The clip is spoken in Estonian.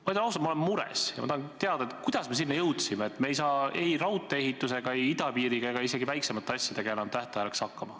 Ma ütlen ausalt, et ma olen mures, ja ma tahan teada, kuidas me sinna jõudsime, et me ei saa ei raudtee, idapiiri ega isegi väiksemate asjade ehitamisega enam tähtajaks valmis.